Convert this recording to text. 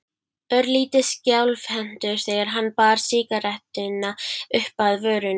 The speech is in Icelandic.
Örlítið skjálfhentur þegar hann bar sígarettuna uppað vörunum.